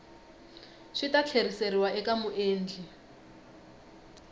swi ta tlheriseriwa eka muendli